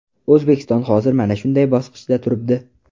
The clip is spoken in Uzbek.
O‘zbekiston hozir mana shunday bosqichda turibdi.